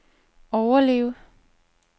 overleve